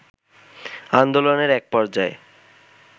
আন্দোলনের এক পর্যায়ে